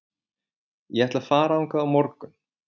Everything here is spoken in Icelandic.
Ég ætla að fara þangað á morgun.